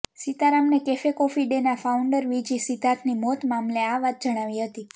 સીતારમને cafe coffee ડેના founder V G સિદ્ધાર્થની મોત મામલે આ વાત જણાવી હતી